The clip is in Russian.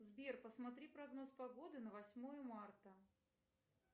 сбер посмотри прогноз погоды на восьмое марта